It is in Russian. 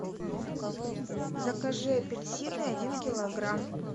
закажи апельсины один килограмм